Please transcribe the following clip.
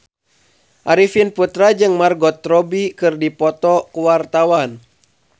Arifin Putra jeung Margot Robbie keur dipoto ku wartawan